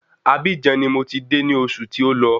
Abíjan ni mò ti de ní osù tí ó lọ